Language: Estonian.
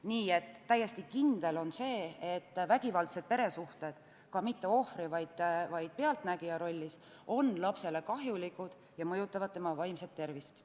Nii et täiesti kindel on see, et vägivaldsed peresuhted on lapsele – mitte üksnes ohvri, vaid ka pealtnägija rollis – kahjulikud ja mõjutavad tema vaimset tervist.